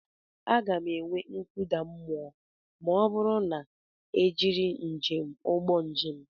Aga m enwe nkụda mmụọ ma ọ bụrụ na m ejiri njem ụgbọ njem.